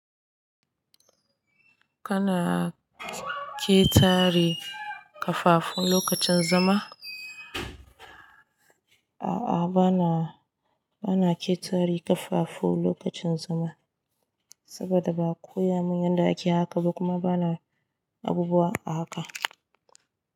Kana ƙetare ƙafafu lokacin zama? A'a, bana, bana ƙetare ƙafafu lokacin zama. Saboda ba a koya mun yadda ake haka ba kuma bana abubuwa a haka.